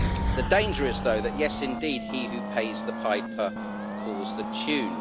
The danger is, though, that yes, indeed he who pays the piper calls the tune.